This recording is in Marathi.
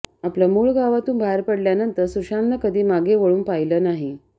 आपल्या मुळ गावातून बाहेर पडल्यानंतर सुशांतनं कधी मागे वळून पाहिलं नाही